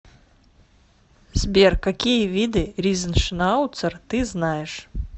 сбер какие виды ризеншнауцер ты знаешь